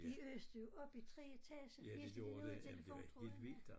De øste jo op i 3 etager helt til de nåede telefontrådene